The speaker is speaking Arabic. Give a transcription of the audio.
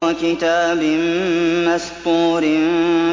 وَكِتَابٍ مَّسْطُورٍ